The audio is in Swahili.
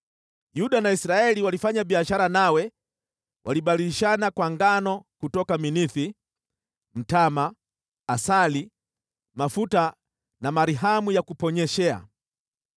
“ ‘Yuda na Israeli walifanya biashara nawe, walibadilishana kwa ngano kutoka Minithi, mtama, asali, mafuta na zeri ya kuponyeshea.